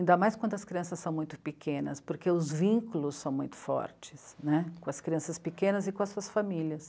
Ainda mais quando as crianças são muito pequenas, porque os vínculos são muito fortes, né? Com as crianças pequenas e com as suas famílias.